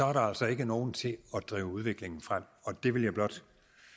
er der altså ikke nogen til at drive udviklingen frem og det vil jeg blot